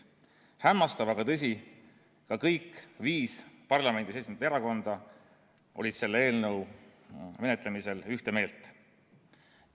Hämmastav, aga tõsi: kõik viis parlamendis esindatud erakonda olid selle eelnõu menetlemisel ühte meelt.